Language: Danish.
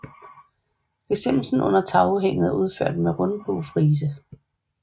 Gesimsen under tagudhænget er udført med rundbuefrise